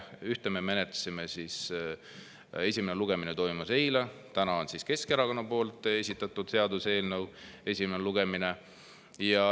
Ühte me menetlesime eile, esimene lugemine toimus eile, täna on Keskerakonna esitatud seaduseelnõu esimene lugemine.